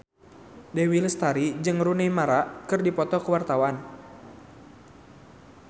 Dewi Lestari jeung Rooney Mara keur dipoto ku wartawan